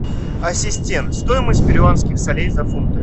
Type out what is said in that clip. ассистент стоимость перуанских солей за фунты